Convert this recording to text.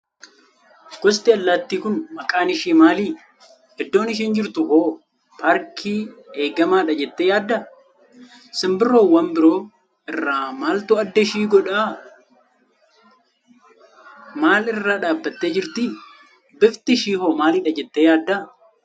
Gosti allaattii kun maqaan ishii maali? Iddoon isheen jirtuhoo paarkii eegamaadha jettee yaaddaa? Simbirroowwan biroo irraa maaltu adda ishii adda godha? Maal irra dhaabbattee jirti? Bifti ishee hoo maalidha jettee yaadda?